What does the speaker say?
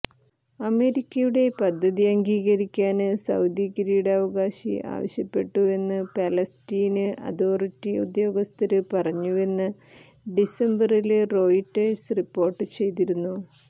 അമേരിക്കയുടെ പദ്ധതി അംഗീകരിക്കാന് സൌദി കിരീടവകാശി ആവശ്യപ്പെട്ടുവെന്ന് ഫലസ്തീന് അതോറിറ്റി ഉദ്യോഗസ്ഥര് പറഞ്ഞുവെന്ന് ഡിസംബറില് റോയിട്ടേഴ്സ് റിപ്പോര്ട്ട് ചെയ്തിരുന്നു